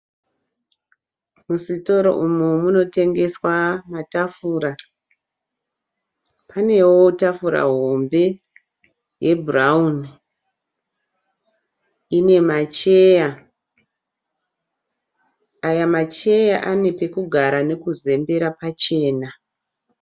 Musitoro umu munotengeswa matafura. Panewo tafura hombe yebhurawuni. Ine macheya. Aya macheya ane pekugara nekuzembera pachena.